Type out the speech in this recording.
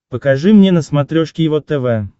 покажи мне на смотрешке его тв